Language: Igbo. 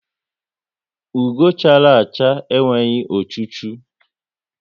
Ugo chara acha enweghị ochu chu